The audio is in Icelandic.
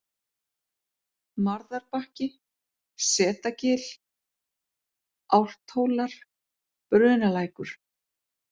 Marðarbakki, Setagil, Álfthólar, Brunalækur